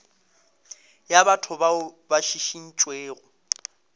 ya batho bao ba šišintšwego